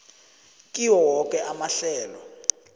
kiwo woke amahlelo